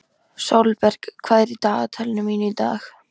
Sólberg, hvað er í dagatalinu mínu í dag?